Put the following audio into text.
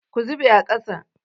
Ku zube a ƙasa!